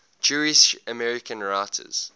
jewish american writers